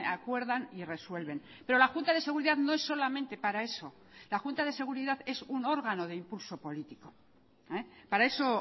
acuerdan y resuelven pero la junta de seguridad no es solamente para eso la junta de seguridad es un órgano de impulso político para eso